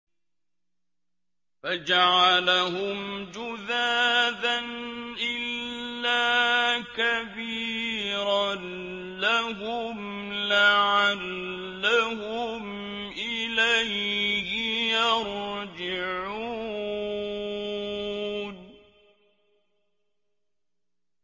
فَجَعَلَهُمْ جُذَاذًا إِلَّا كَبِيرًا لَّهُمْ لَعَلَّهُمْ إِلَيْهِ يَرْجِعُونَ